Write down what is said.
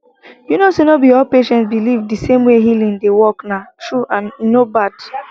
you know say no be all patients believe the same way healing dey workna true and e no bad